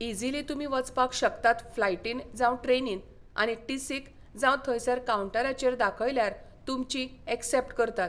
easily तुमी वचपाक शकतात फ्लायटीन जावं ट्रेनीन आनी टिसीक जावं थंयसर कांवन्टराचेर दाखयल्यार तुमची ऐक्सेप्ट करतात